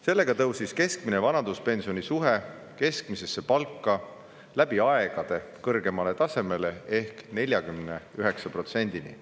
Sellega tõusis keskmine vanaduspensioni suhe keskmisesse palka läbi aegade kõrgeimale tasemele ehk 49%‑ni.